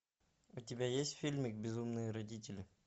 у тебя есть фильмик безумные родители